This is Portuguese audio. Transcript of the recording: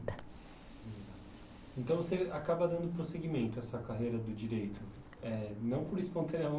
Então você acaba dando prosseguimento a sua carreira do direito, eh não por espontânea